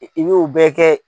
I b'u bɛɛ kɛ.